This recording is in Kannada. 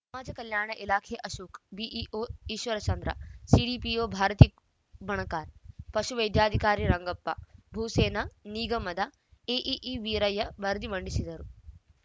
ಸಮಾಜ ಕಲ್ಯಾಣ ಇಲಾಖೆ ಅಶೋಕ್‌ ಬಿಇಒ ಈಶ್ವರಚಂದ್ರ ಸಿಡಿಪಿಒ ಭಾರತಿ ಬಣಕಾರ್‌ ಪಶು ವೈದ್ಯಾಧಿಕಾರಿ ರಂಗಪ್ಪ ಭೂಸೇನಾ ನೀಗಮದ ಎಇಇ ವೀರಯ್ಯ ವರದಿ ಮಂಡಿಸಿದರು